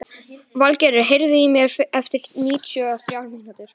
Valgerður, heyrðu í mér eftir níutíu og þrjár mínútur.